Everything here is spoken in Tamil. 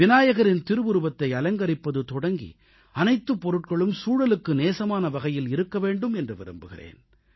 விநாயகரின் திருவுருவத்தை அலங்கரிப்பது தொடங்கி அனைத்துப் பொருட்களும் சூழலுக்கு நேசமான வகையில் இருக்க வேண்டும் என்று விரும்புகிறேன்